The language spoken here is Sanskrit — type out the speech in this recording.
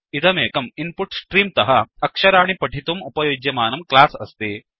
इदमेकं इन्पुट्स्ट्रीम् तः अक्षराणि पठितुम् उपयुज्यमानं क्लास् अस्ति